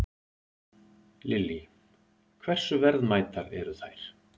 Lillý: Hversu verðmætar eru þær?